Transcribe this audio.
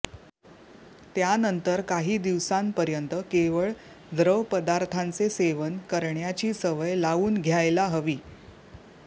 त्यानंतर काही दिवसांपर्यंत केवळ द्रवपदार्थांचे सेवन करण्याची सवय लावून घ्यायला हवी